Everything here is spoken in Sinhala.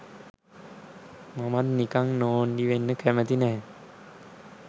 මමත් නිකං නෝන්ඩි වෙන්න කැමති නැහැ''